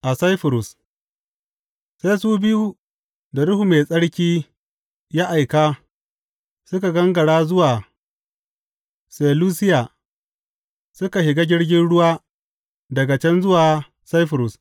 A Saifurus Sai su biyu da Ruhu Mai Tsarki ya aika suka gangara zuwa Selusiya suka shiga jirgin ruwa daga can zuwa Saifurus.